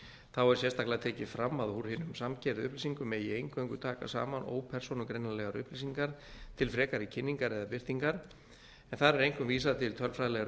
þá er sérstaklega tekið fram að úr hinum samkeyrðu upplýsingum legg eingöngu taka saman ópersónugreinanlegar upplýsingar til frekari kynningar eða birtingar en þar er einkum vísað til tölfræðilegra upplýsinga